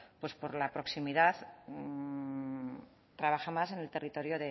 pues por la proximidad trabaja más en el territorio